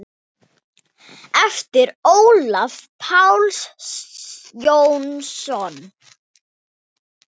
eftir Ólaf Pál Jónsson